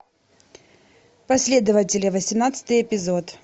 последователи восемнадцатый эпизод